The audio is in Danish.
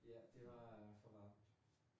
Ja, det var for varmt